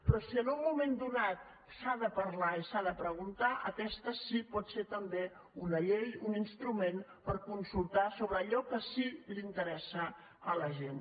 però si en un moment donat se n’ha de parlar i s’ha de preguntar aquesta sí que pot ser també una llei un instrument per consultar sobre allò que síque interessa a la gent